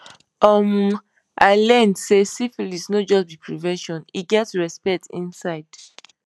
um i learn say syphilis no just be prevention e get respect inside